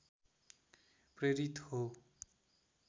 प्रेरित हो